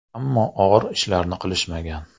Ammo og‘ir ishlarni qilishmagan.